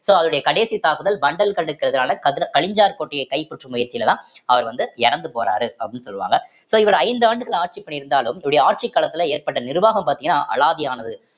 so அவருடைய கடைசி தாக்குதல் வண்டல் கண் எதிருக்கான கலிஞ்சர் கோட்டையை கைப்பற்றும் முயற்சியிலதான் அவர் வந்து இறந்து போறாரு அப்படின்னு சொல்லுவாங்க so இவரு ஐந்து ஆண்டுகள் ஆட்சி பண்ணியிருந்தாலும் இவருடைய ஆட்சி காலத்துல ஏற்பட்ட நிர்வாகம் பார்த்தீங்கன்னா அலாதியானது